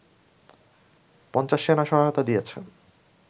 ৫০ সেনা সহায়তা দিয়েছে